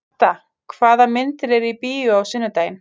Marta, hvaða myndir eru í bíó á sunnudaginn?